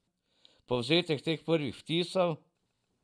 Povzetek teh prvih vtisov?